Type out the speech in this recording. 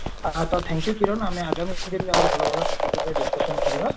ତ thank you Kiran ଆମେ ଆଗାମୀ ଦିନରେ ଆହୁରି ଭଲ ଭଲ topic ଉପରେ discussion କରିବା